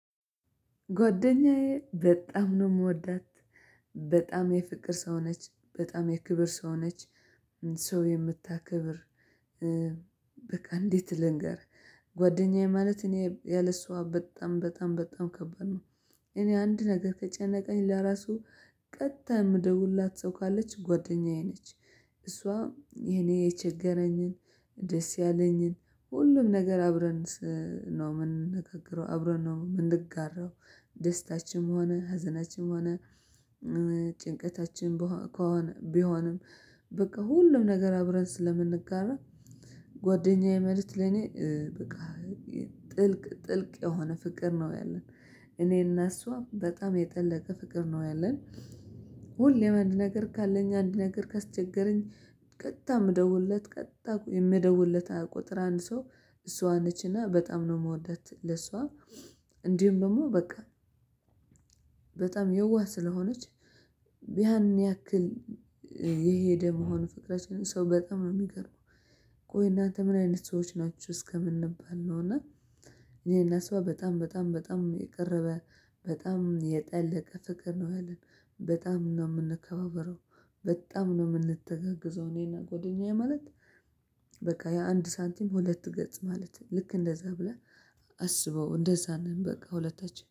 ጓደኛዬ በጣም ነው የምወዳት። በጣም የፍቅር ሰው ነች። በጣም የክብር ሰው ነች። ሰው የምታከብር በቃ እንዴት ልንገር ጓደኛዬ ማለት እኔ ያለሷ በጣም በጣም በጣም ከባድ ነው። እኔ አንድ ነገር ከጨነቀኝ ለራሱ ቀጥታ የምደውልላት ሰው ካለች ጓደኛዬ ነች። እሷ እኔ የቸገረኝን ደስ ያለኝን ሁሉም ነገር አብረን ነው የምንነጋገረው አብረን ነው የምንጋራው። ደስታችንም ሆነ ህዘናችንም ሆነ ጭንቀታችን ከሆነ ቢሆንም በቃ ሁሉም ነገር አብረን ስለምንጋራ ጓደኛዬ ማለት ለኔ በቃ ጥልቅ የሆነ ፍቅር ነው ያለን። እኔና እሷም በጣም የጠለቀ ፍቅር ነው ያለን። ሁሌም አንድ ነገር ካለኝ አንድ ነገር ካስቸገረኝ ቀጥታ እምደውልለት ቀጥታ የምደውልለት ቁጥር አንድ ሰው እሷ ነችና በጣም ነው የምወዳት። ለሷ እንዲሁም ደግሞ በቃ በጣም የዋህ ስለሆነች ያን ያክል የሄደ መሆን ፍቅረችን ሰው በጣም ነው የሚገርመው። ቆይ እናንተ ምን አይነት ሰዎች ናችሁ እስከምንባል ነው። እና እኔና እሷ በጣም በጣም በጣም የቀረበ በጣም የጠለቀ ፍቅር ነው ያለን። በጣም ነው የምንከባበረው። በጣም ነው የምንተጋገዘው። እኔና ጓደኛዬ ማለት በቃ ያአንድ ሳንቲም ሁለት ገጽ ማለት ነ። ልክ እንደዛ ብለህ አስበው። እንደዛ ነን በቃ ሁለታችን።